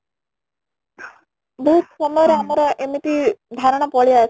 ବହୁତ ସମୟ ରେ ଆମର ଏମିତି ପଳେଇ